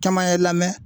Caman ye lamɛn